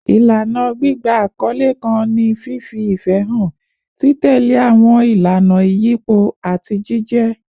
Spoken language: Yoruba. Ilana gbigba akọle kan ni fifi ifẹ han, titẹle awọn ilana iyipo, ati jijẹ